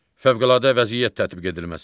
Fövqəladə vəziyyət tətbiq edilməsi.